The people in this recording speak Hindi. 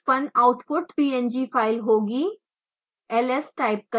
उत्पन्न आउटपुट png फाइल होगी